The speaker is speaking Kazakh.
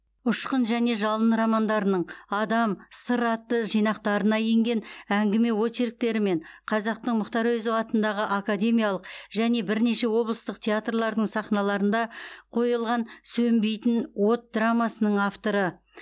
ұшқын және жалын романдарының адам сыр атты жинақтарына енген әңгіме очерктері мен қазақтың мұхтар әуезов атындағы академиялық және бірнеше облыстық театрлардың сахналарында қойылған сөнбейтін от драмасының авторы